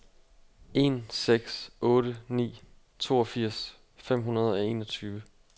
en seks otte ni toogfirs fem hundrede og enogtyve